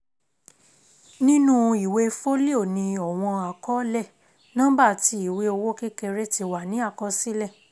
Nínú ìwé fólíò ni ọ̀wọ́n àkọọ́lẹ̀, nọ́ḿbà tí ìwé owó kékeré ti wà ni àkọsílẹ̀